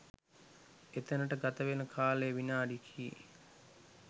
එතැනට ගතවන කාලය විනාඩි කි